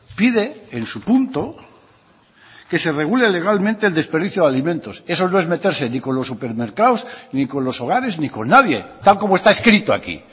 pide en su punto que se regule legalmente el desperdicio de alimentos eso no es meterse ni con los supermercados ni con los hogares ni con nadie tal como está escrito aquí